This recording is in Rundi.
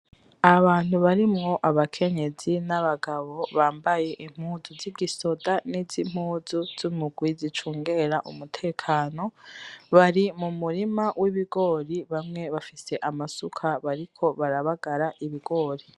Abantu barimwo abakenyezi nabagabo bambaye impuzu zigisoda nimpuzu zumugwi , zicungera umutekano , bari mumurima wibigori bamwe bafise amasuka bariko barabagara ibigori .